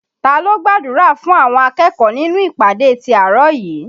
Ta ló gbàdúrà fún àwọn akẹ́kọ̀ọ́ nínú ìpàdé ti àárọ̀ yìí?